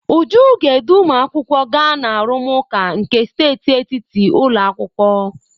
Uju ga-edu ụmụakwụkwọ gaa na arụmụka nke steeti etiti ụlọ akwụkwọ.